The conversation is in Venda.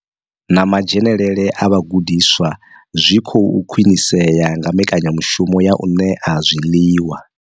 Na madzhenele a vhagudiswa zwi khou khwinisea nga mbekanyamushumo ya u ṋea zwiḽiwa.